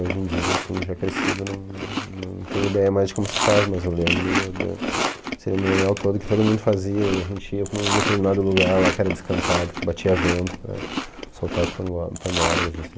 Hoje em dia, assim, já crescido, não não tenho ideia mais de como se faz, mas eu lembro do do cerimonial todo que todo mundo fazia e a gente ia para um determinado lugar lá que era descampado, que batia vento para soltar as pando pandorgas, assim...